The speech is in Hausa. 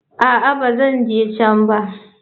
A'a, ba zan je can ba.